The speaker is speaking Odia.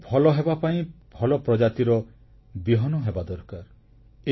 ଭଲ ଫସଲ ହେବାପାଇଁ ଭଲ ପ୍ରଜାତିର ବିହନ ହେବା ଦରକାର